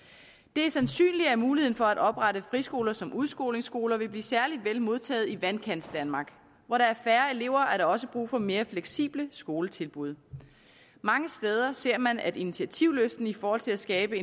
det er sandsynligt at muligheden for at oprette friskoler som udskolingsskoler vil blive særlig vel modtaget i vandkantsdanmark hvor der er færre elever er der også brug for mere fleksible skoletilbud mange steder ser man at initiativlysten i forhold til at skabe